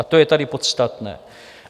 A to je tady podstatné.